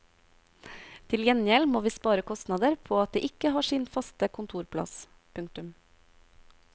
Til gjengjeld må vi spare kostnader på at de ikke har sin faste kontorplass. punktum